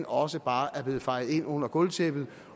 også bare er blevet fejet ind under gulvtæppet